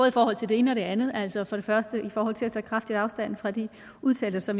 i forhold til det ene og det andet altså for det første i forhold til at tage kraftig afstand fra de udtalelser